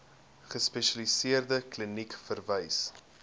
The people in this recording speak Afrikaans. gespesialiseerde kliniek verwys